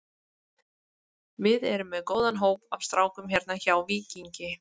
Við erum með góðan hóp af strákum hérna hjá Víkingi.